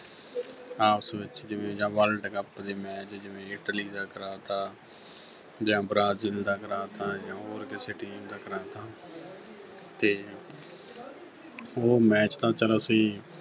ਆਪਸ ਵਿੱਚ ਜਿਵੇਂ ਜਾਂ World Cup ਦੇ match ਜਿਵੇਂ Italy ਦਾ ਕਰਾਤਾ ਜਾਂ Brazil ਦਾ ਕਰਾਤਾ ਆਏਂ ਜਿਉਂ ਹੋਰ ਕਿਸੇ teams ਦਾ ਕਰਾਤਾ ਤੇ ਉਹ match ਤਾਂ ਚਲੋ ਅਸੀਂ